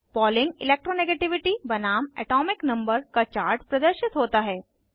polling electro negativity बनाम atomic number का chart प्रदर्शित होता है